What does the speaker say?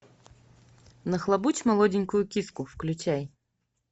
нахлобучить молоденькую киску включай